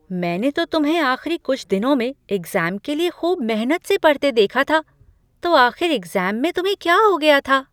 मैंने तो तुम्हें आख़िरी कुछ दिनों में एग्ज़ाम के लिए खूब मेहनत से पढ़ते देखा था। तो आख़िर एग्ज़ाम में तुम्हें क्या हो गया था?